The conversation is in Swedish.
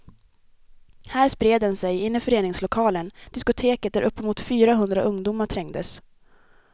Här spred den sig in i föreningslokalen, diskoteket där uppemot fyra hundra ungdomar trängdes.